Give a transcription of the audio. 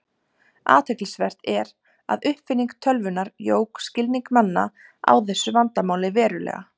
Athyglisvert er að uppfinning tölvunnar jók skilning manna á þessu vandamáli verulega.